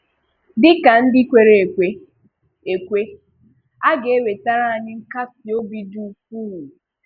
Dị ka ndị kwèrè ekwè, ekwè, a ga-ewètàrà anyị nkàsí òbì dị ukwuu.